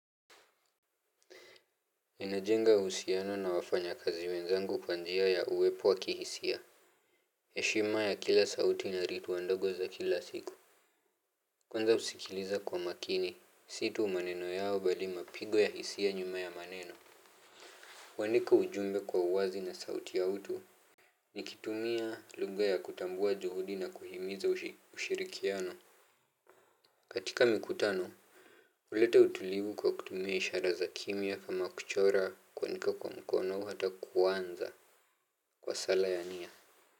Enajenga uhusiano na wafanyakazi wenzangu kwa njia ya uwepo wa kihisia heshima ya kila sauti na ritu wandogo za kila siku. Kwanza husikiliza kwa makini si u maneno yao bali mapigo ya hisia nyuma ya maneno kuanika ujumbe kwa uwazi na sauti ya utu. Nikitumia lugha ya kutambua juhudi na kuhimiza ushirikiano. Katika mikutano ulete utulivu kwa kutumia ishara za kimya kama kuchora kuandika kwa mkono hata kuanza kwa sala ya nia.